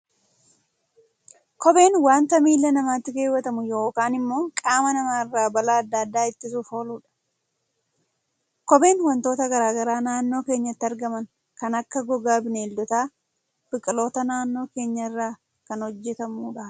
Kopheen waanta miila namaatti keewwatamu yookaan immoo qaama namaa irraa balaa addaa addaa ittisuuf ooluudha. Kopheen waantota garaagaraa naannoo keenyatti argaman kan akka gogaa Bineeldotaa, biqiloota naannoo keenyaa irraa kan hojjetamudha.